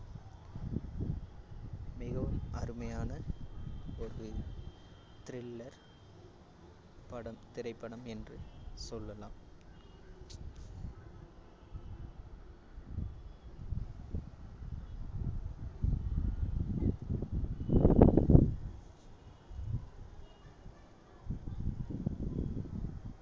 மிகவும் அருமையான ஒரு thriller படம் திரைப்படம் என்று சொல்லலாம்